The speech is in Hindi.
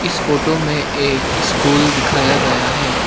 इस फोटो में एक स्कूल दिखाया गया है।